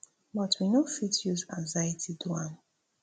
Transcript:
but we no fit use anxiety do am